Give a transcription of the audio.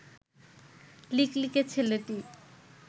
লিকলিকে ছেলেটি